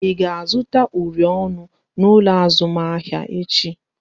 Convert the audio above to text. Ị ga-azụta uri ọnụ n'ụlọ azụmahịa echi?